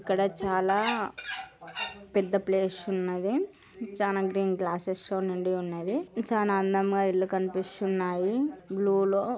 ఇక్కడ చాల పెద్ద ప్లేషు ఉన్నది చాన గ్రీన్ గ్రాసస్ తో నిండిఉన్నది చాన అందంగా ఇల్లు కనిపిస్తున్నాయి బ్లూ లో --